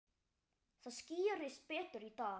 Það skýrist betur í dag.